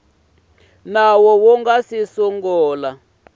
nawu wu nga si sungula